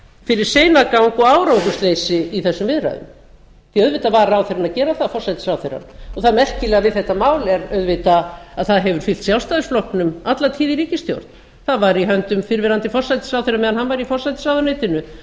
fyrir seinagang og árangursleysi í þessum viðræðum því auðvitað var forsætisráðherra að gera það það merkilega við þetta mál er auðvitað að það hefur fylgt sjálfstæðisflokknum alla tíð í ríkisstjórn það var í höndum fyrrverandi forsætisráðherra meðan hann var í forsætisráðuneytinu